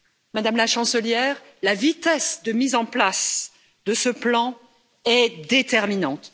Madame la Chancelière, la vitesse de mise en place de ce plan est déterminante.